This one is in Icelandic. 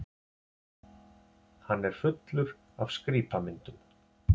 Hann er fullur af skrípamyndum.